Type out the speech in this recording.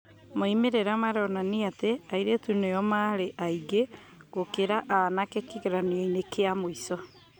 Moimĩrĩra maronania atĩ airĩtu nĩo maarĩ aingĩ gũkĩra anake kĩgeranio-inĩ gĩa mũico.